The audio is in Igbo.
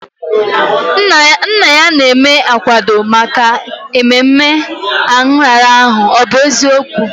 Nna ya na-eme akwado maka ememe nrara ahụ, ọ bụ eziokwu?